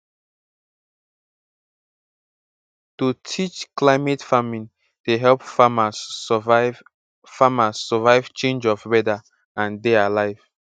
to teach climate farming dey help farmers survive farmers survive change of weather and dey alive